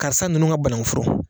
Karisa ninnu ka banakun foro.